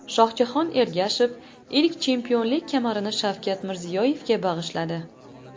Shohjahon Ergashev ilk chempionlik kamarini Shavkat Mirziyoyevga bag‘ishladi .